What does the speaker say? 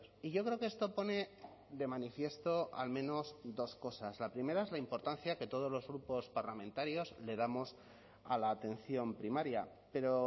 y yo creo que esto pone de manifiesto al menos dos cosas la primera es la importancia que todos los grupos parlamentarios le damos a la atención primaria pero